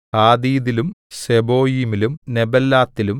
ഹാദീദിലും സെബോയീമിലും നെബല്ലാത്തിലും